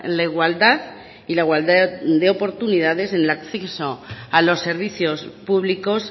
la igualdad y la igualdad de oportunidades en el acceso a los servicios públicos